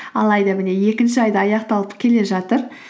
алайда міне екінші ай да аяқталып келе жатыр